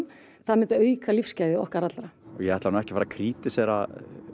það myndi auka lífsgæði okkar allra ég ætla nú ekki að krítísera